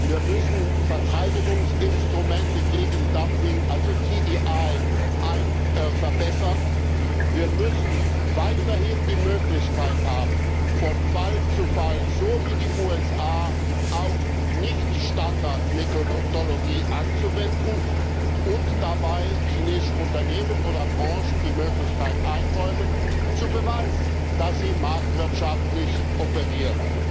wir müssen Verteidigungsinstrumente gegen Dumping also TDI verbessern wir müssen weiterhin die Möglichkeit haben, von Fall zu Fall, so wie die USA, auch Nicht-Standard-Methodologie anzuwenden und dabei chinesischen Unternehmen oder Branchen die Möglichkeit einräumen, zu beweisen, dass sie marktwirtschaftlich operieren.